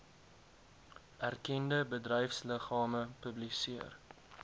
erkende bedryfsliggame publiseer